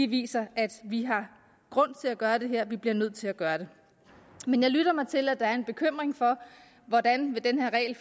viser at vi har grund til at gøre det her at vi bliver nødt til at gøre det men jeg lytter mig til at der er en bekymring for hvordan den her regel